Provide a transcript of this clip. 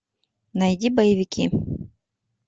найди боевики